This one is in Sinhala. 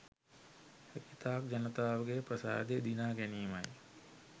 හැකිතාක් ජනතාවගේ ප්‍රසාදය දිනා ගැනීමයි